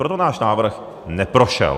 Proto náš návrh neprošel.